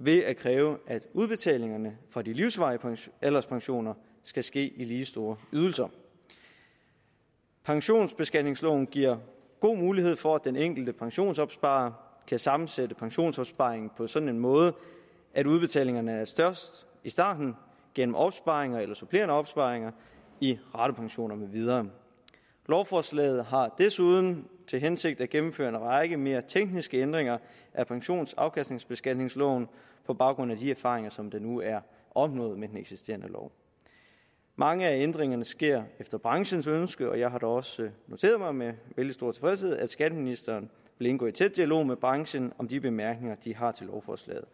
ved at kræve at udbetalingerne fra de livsvarige alderspensioner skal ske i lige store ydelser pensionsbeskatningsloven giver god mulighed for at den enkelte pensionsopsparer kan sammensætte pensionsopsparingen på en sådan måde at udbetalingerne er størst i starten gennem opsparinger eller supplerende opsparinger i ratepensioner med videre lovforslaget har desuden til hensigt at gennemføre en række mere tekniske ændringer af pensionsafkastningsbeskatningsloven på baggrund af de erfaringer som der nu er opnået med den eksisterende lov mange af ændringerne sker efter branchens ønske og jeg har da også noteret mig med vældig stor tilfredshed at skatteministeren vil indgå i tæt dialog med branchen om de bemærkninger den har til lovforslaget